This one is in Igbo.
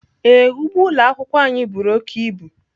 Ee, ugbo ụlọ akwụkwọ anyị buru oke ibu.